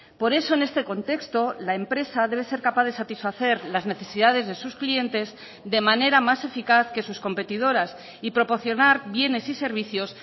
por eso en este contexto la empresa debe ser capaz de satisfacer las necesidades de sus clientes de manera más eficaz que sus competidoras y proporcionar bienes y servicios